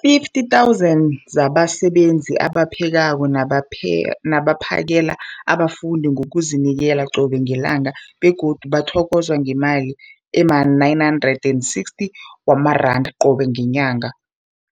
50 000 zabasebenzi abaphekako nabaphakela abafundi ngokuzinikela qobe ngelanga, begodu bathokozwa ngemali ema-960 wamaranda qobe ngenyanga,